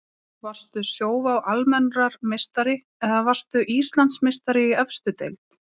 Varstu Sjóvá Almennrar meistari eða varðstu Íslandsmeistari í efstu deild?